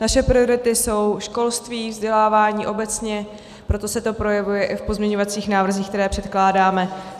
Naše priority jsou školství, vzdělávání obecně, proto se to projevuje i v pozměňovacích návrzích, které předkládáme.